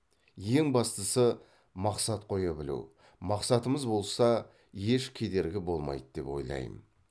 ең бастысы мақсат қоя білу мақсатымыз болса еш кедергі болмайды деп ойлайм